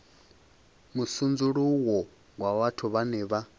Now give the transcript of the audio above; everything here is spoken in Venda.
musudzuluwo wa vhathu vhane vha